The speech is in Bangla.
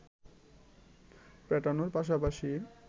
পেটানোর পাশাপাশি